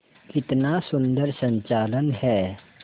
कितना सुंदर संचालन है